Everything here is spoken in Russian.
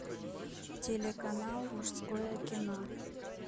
телеканал мужское кино